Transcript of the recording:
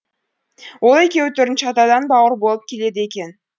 ол екеуі төртінші атадан бауыр болып келеді екен